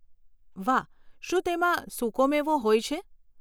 વાહ, શું તેમાં સુકો મેવો હોય છે?